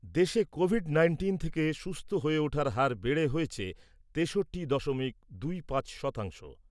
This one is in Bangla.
দেশে কোভিড নাইন্টিন থেকে সুস্থ হয়ে ওঠার হার বেড়ে হয়েছে তেষট্টি দশমিক দুই পাঁচ শতাংশ।